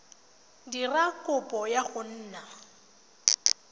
dira kopo ya go nna